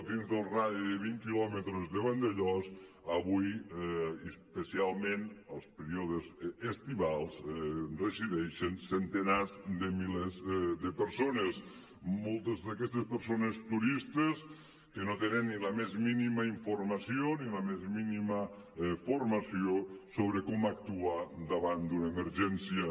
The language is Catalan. dins del radi de vint quilòmetres de vandellòs avui i especialment als períodes estivals resideixen centenars de milers de persones moltes d’aquestes persones turistes que no tenen ni la més mínima informació ni la més mínima formació sobre com actuar davant d’una emergència